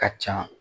Ka ca